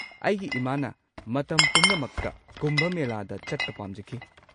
ꯑꯩꯒꯤ ꯏꯃꯥꯅ ꯃꯇꯝ ꯄꯨꯝꯅꯃꯛꯇ ꯀꯨꯝꯚ ꯃꯦꯂꯥꯗ ꯆꯠꯄ ꯄꯥꯝꯖꯈꯤ꯫